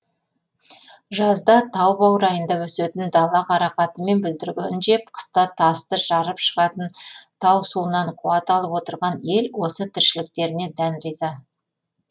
жазда тау баурайында өсетін дала қарақаты мен бүлдіргенін жеп қыста тасты жарып шығатын тау суынан қуат алып отырған ел осы тіршіліктеріне дән риза